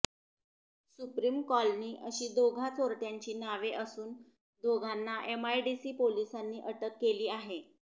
supreme colony अशी दोघा चोरट्यांची नावे असून दोघांना एमआयडीसी पोलिसांनी अटक केली आहे